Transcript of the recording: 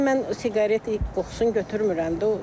Şəxsən mən siqaret qoxusun götürmürəm də.